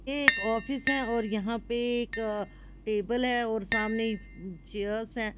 एक ऑफिस है और यहां पे एक टेबल है और सामने चेयर्स है।